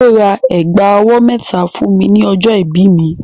Kúnlé ra ẹ̀gbà ọwọ́ mẹ́ta fún mi ní ọjọ́ ìbí mi.